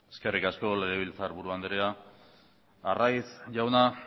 eskerrik asko legebiltzarburu anderea arraiz jauna